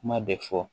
Kuma bɛ fɔ